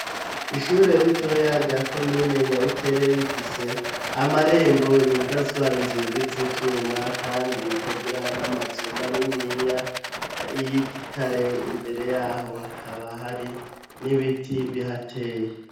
Ishure ritoya rya comine Nyabikere rifise amarembo yugazwa inzugi z'ivyuma, kandi rikagira n'amazu maniniya y'igitare, imbere yaho hakaba hari n'ibiti bihateye.